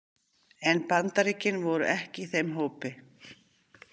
En Bandaríkin voru ekki í þeim hópi.